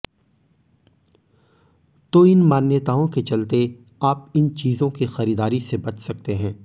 तो इन मान्यताओं के चलते आप इन चीजों की खरीदारी से बच सकते हैं